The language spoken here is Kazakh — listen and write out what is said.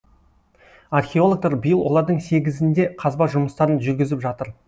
археологтар биыл олардың сегізінде қазба жұмыстарын жүргізіп жатыр